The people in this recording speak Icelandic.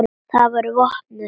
Þau voru vopnuð.